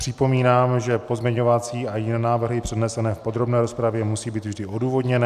Připomínám, že pozměňovací a jiné návrhy přednesené v podrobné rozpravě musí být vždy odůvodněné.